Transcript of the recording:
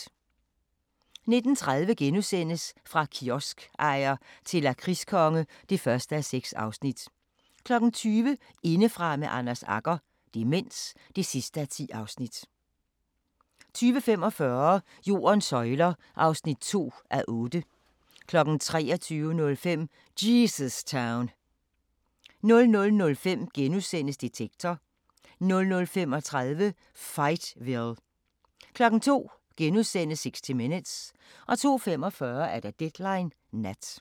19:30: Fra kioskejer til lakridskonge (1:6)* 20:00: Indefra med Anders Agger - demens (10:10) 20:45: Jordens søjler (2:8) 23:05: Jesus Town 00:05: Detektor * 00:35: Fightville 02:00: 60 Minutes * 02:45: Deadline Nat